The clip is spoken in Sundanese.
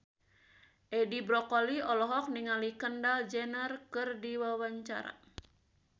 Edi Brokoli olohok ningali Kendall Jenner keur diwawancara